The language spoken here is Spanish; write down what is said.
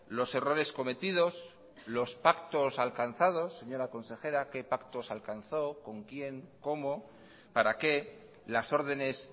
los errores cometidos los pactos alcanzados señora consejera qué pactos alcanzó con quién cómo para qué las ordenes